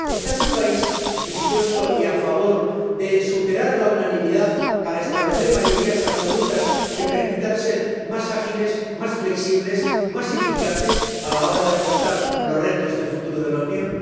¿Está su país dispuesto y a favor de superar la unanimidad para establecer mayorías absolutas que permitan ser más ágiles, más flexibles, más eficaces a la hora de afrontar los retos del futuro de la Unión?